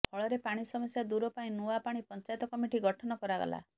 ଫଳରେ ପାଣି ସମସ୍ୟା ଦୂର ପାଇଁ ନୂଆ ପାଣି ପଞ୍ଚାୟତ କମିଟି ଗଠନ କରାଗଲା